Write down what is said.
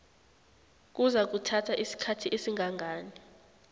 kuzakuthatha isikhathi esingangani